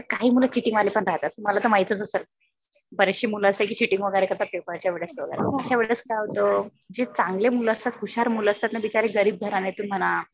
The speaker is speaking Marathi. आता काही मुलं चीटिंग वाले पण राहतात. तुम्हाला तर माहीतच असेल. बरेचशे मुलं अशे आहेत जे चीटिंग वगैरे करतात पेपरच्या वेळेस. अशा वेळेस काय होतं जे चांगले मुलं असतात हुशार मुलं असतात. बिचारे गरीब घराण्यातून म्हणा